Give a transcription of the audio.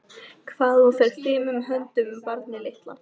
Hvað hún fer fimum höndum um barnið litla.